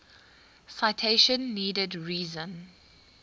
citation needed reason